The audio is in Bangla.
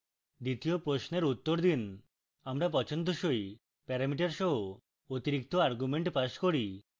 দ্বিতীয় প্রশ্নের উত্তর দিন